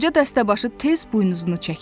Qoca dəstəbaşı tez buynuzunu çəkdi.